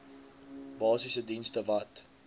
basiese dienste wat